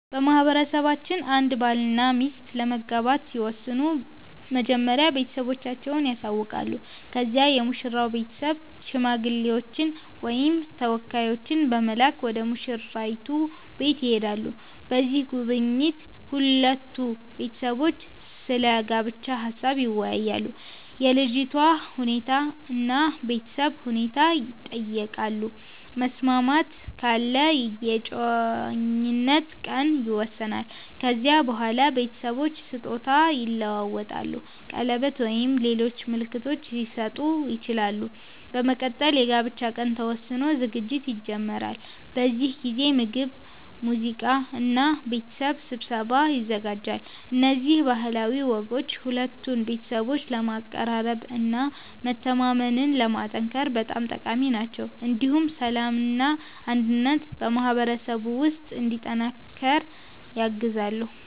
በማህበረሰባችን አንድ ባልና ሚስት ለመጋባት ሲወስኑ መጀመሪያ ቤተሰቦቻቸውን ያሳውቃሉ። ከዚያ የሙሽራው ቤተሰብ ሽማግሌዎችን ወይም ተወካዮችን በመላክ ወደ ሙሽራይቱ ቤት ይሄዳሉ። በዚህ ጉብኝት ሁለቱ ቤተሰቦች ስለ ጋብቻ ሀሳብ ይወያያሉ፣ የልጅቷ ሁኔታ እና የቤተሰብ ሁኔታ ይጠየቃሉ። መስማማት ካለ የእጮኝነት ቀን ይወሰናል። ከዚያ በኋላ ቤተሰቦች ስጦታ ይለዋወጣሉ፣ ቀለበት ወይም ሌሎች ምልክቶች ሊሰጡ ይችላሉ። በመቀጠል የጋብቻ ቀን ተወስኖ ዝግጅት ይጀመራል። በዚህ ጊዜ ምግብ፣ ሙዚቃ እና የቤተሰብ ስብሰባ ይዘጋጃል። እነዚህ ባህላዊ ወጎች ሁለቱን ቤተሰቦች ለማቀራረብ እና መተማመንን ለማጠናከር በጣም ጠቃሚ ናቸው። እንዲሁም ሰላምና አንድነት በማህበረሰቡ ውስጥ እንዲጠናከር ያግዛሉ።